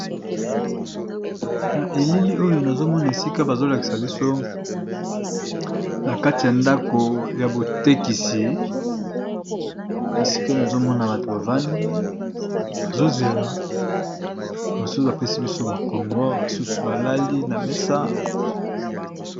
Na elili oyo nazomona esika bazolakisa biso, na kati ya ndako ya botekisi esika nazomona bato bavandi bazozela, babasusu bapesi biso mokongo basusu balali na mesa.